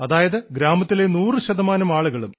അതായത് ഗ്രാമത്തിലെ നൂറു ശതമാനം ആളുകളും